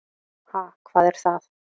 Ha, hvað er það.